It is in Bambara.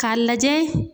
K'a lajɛ